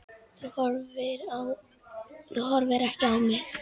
Þú horfir ekki á mig.